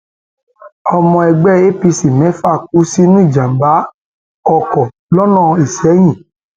ọmọ ẹgbẹ apc mẹfà kú sínú ìjàmbá ọkọ lọnà isẹyìn